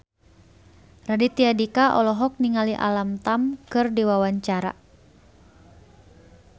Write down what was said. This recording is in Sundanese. Raditya Dika olohok ningali Alam Tam keur diwawancara